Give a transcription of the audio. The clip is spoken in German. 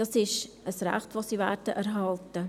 Das ist ein Recht, das sie erhalten werden.